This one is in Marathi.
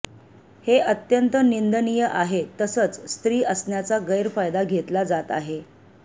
हे अत्यंत निंदणीय आहे तसंच स्त्री असण्याचा गैरफायदा घेतला जात आहे